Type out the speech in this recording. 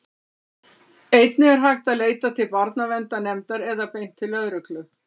einnig er hægt að leita til barnaverndarnefndar eða beint til lögreglu